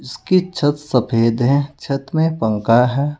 उसके छत सफेद हैं छत में पंखा है।